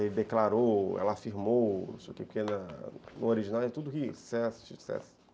Ele declarou, ela afirmou, porque no original é tudo riso, sucesso, sucesso.